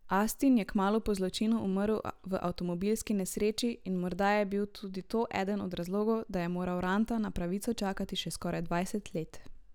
Astin je kmalu po zločinu umrl v avtomobilski nesreči in morda je bil tudi to eden od razlogov, da je moral Ranta na pravico čakati še skoraj dvajset let.